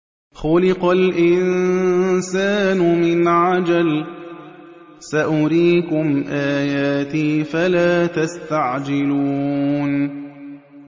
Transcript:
خُلِقَ الْإِنسَانُ مِنْ عَجَلٍ ۚ سَأُرِيكُمْ آيَاتِي فَلَا تَسْتَعْجِلُونِ